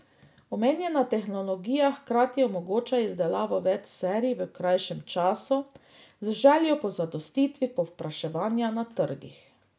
Omenjena tehnologija hkrati omogoča izdelavo več serij v krajšem času, z željo po zadostitvi povpraševanja na trgih.